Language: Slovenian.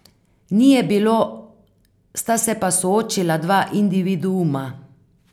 Ni je bilo, sta se pa soočila dva individuuma.